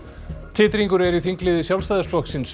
titringur er í þingliði Sjálfstæðisflokksins